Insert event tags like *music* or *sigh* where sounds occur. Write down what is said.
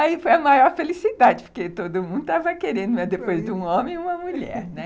Aí foi a maior felicidade, porque todo mundo estava querendo, mas depois de um homem, uma mulher. *laughs*